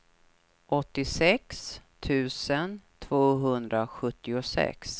åttiosex tusen tvåhundrasjuttiosex